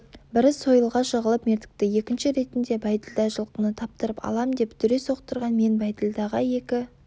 бірі сойылға жығылып мертікті екінші ретінде бәйділда жылқыны таптырып алам деп дүре соқтырған мен бәйділдаға екі